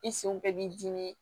I senw bɛɛ b'i dimi